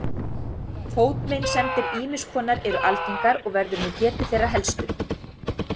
Fótameinsemdir ýmiss konar eru algengar og verður nú getið þeirra helstu